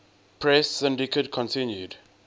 press syndicate continued